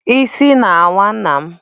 Isi na-awa nna m.